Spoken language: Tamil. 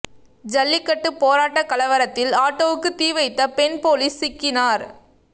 ஜல்லிக்கட்டு போராட்ட கலவரத்தில் ஆட்டோவுக்கு தீவைத்த பெண் போலீ ஸ் சிக்கினார்